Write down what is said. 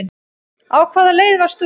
Á hvaða leið varst þú?